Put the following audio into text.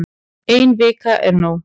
Ein vika er nóg